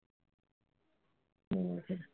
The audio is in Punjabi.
ਹੋਰ ਫ਼ੇਰ।